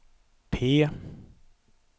P